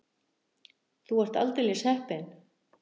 Þú ert aldeilis heppin.